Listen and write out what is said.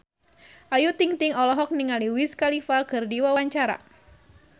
Ayu Ting-ting olohok ningali Wiz Khalifa keur diwawancara